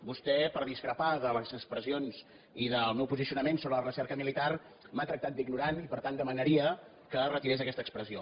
vostè perquè discrepa de les expressions i del meu posicionament sobre la recerca militar m’ha tractat d’ignorant i per tant demanaria que retirés aquesta expressió